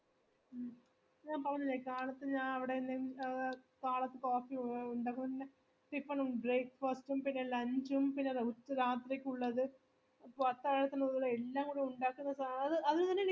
മ് ഞാൻ പറഞ്ഞില്ലേ കാളത്ത് ഞാ അവിടെ ലെ അഹ് കാളത്ത് coffee ഉണ്ടക്കും ന്ന tiffin ഉം break fast ഉം പിന്ന lunch ഉം പിന്ന ഉച്‌ രാത്രിക്കുള്ളതു അത്താഴത്തിനുള്ളത് എല്ലാംകൂടെ ഉണ്ടാക്കുന്നത് ആ അത് അതിതിന്